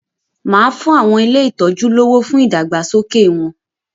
Màá fún àwọn ilé ìtọ́ju lọ́wọ́ fún ìdàgbàsókè wọn.